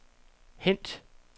hent